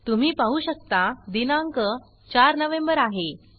तुम्ही पाहु शकता दिनांक 4 नवेंबर आहे